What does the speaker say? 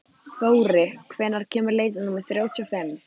Þóri, hvenær kemur leið númer þrjátíu og fimm?